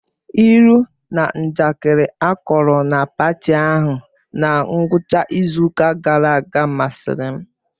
Ilu na njakịrị akọrọ na paati ahụ na ngwụcha izu ụka gara aga masịrị m